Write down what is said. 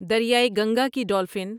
دریائے گنگا کی ڈولفن